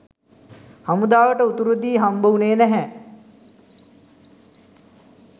හමුදාවට උතුරෙදි හම්බවුණේ නැහැ